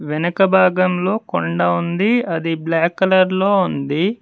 వెనక భాగంలో కొండ ఉంది అది బ్లాక్ కలర్ లో ఉంది